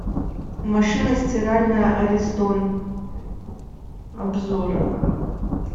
машина стиральная аристон обзор